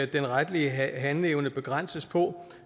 den retlige handleevne begrænses på